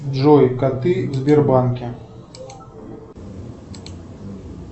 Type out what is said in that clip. джой коты в сбербанке